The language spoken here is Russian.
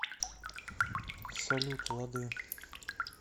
салют лады